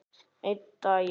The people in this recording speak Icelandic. Einn daginn?